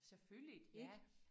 Selvfølgeligt ja